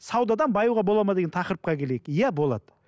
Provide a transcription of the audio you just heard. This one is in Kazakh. саудадан баюға болады ма деген тақырыпқа келейік иә болады